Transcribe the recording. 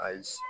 Ayi